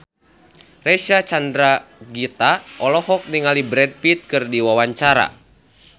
Reysa Chandragitta olohok ningali Brad Pitt keur diwawancara